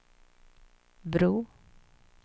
bro